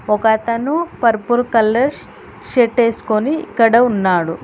ఒకతను purple colour ష్ shirt ఏసుకొని ఇక్కడ ఉన్నాడు.